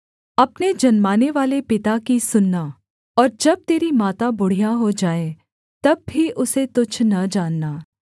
अपने जन्मानेवाले पिता की सुनना और जब तेरी माता बुढ़िया हो जाए तब भी उसे तुच्छ न जानना